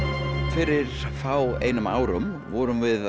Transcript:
fyrir fáeinum vorum við